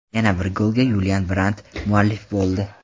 Yana bir golga Yulian Brandt muallif bo‘ldi.